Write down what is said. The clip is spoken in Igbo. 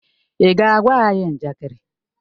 Ị ga-agwa anyị njakịrị?